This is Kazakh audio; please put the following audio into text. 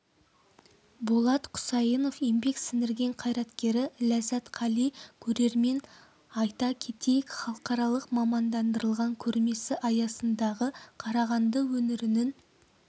болат құсайынов еңбек сіңірген қайраткері ләззат қали көрермен айта кетейік халықаралық мамандандырылған көрмесі аясындағы қарағанды өңірінің